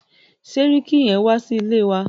Sẹ́ríkí yín wá sí ilé wa.